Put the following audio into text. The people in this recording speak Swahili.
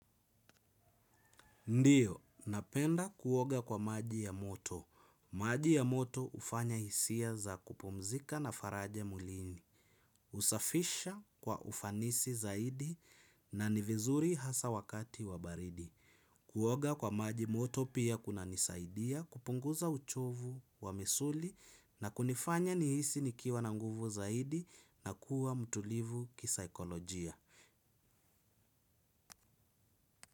Ndiyo, napenda kuoga kwa maji ya moto. Maji ya moto hufanya hisia za kupumzika na faraja mwilini. Husafisha kwa ufanisi zaidi na ni vizuri hasa wakati wa baridi. Kuoga kwa maji moto pia kunanisaidia kupunguza uchovu wa misuli na kunifanya nihisi nikiwa na nguvu zaidi na kuwa mtulivu kisaikolojia.